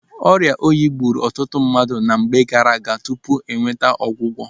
Oriọ oyi gburu ọtụtụ mmadụ na mgbe gaaraaga tupu o nweta ọgwụgwọ.